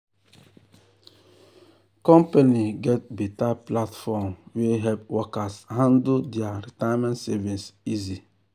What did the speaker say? company get better platform wey help workers handle their retirement savings easy.